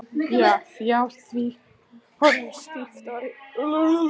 Ég játti því, horfði stíft í augu konunnar.